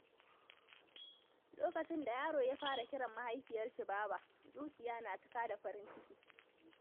Lokacin da yaro ya fara kiran mahaifinsa "baba," zuciya na cika da farin ciki.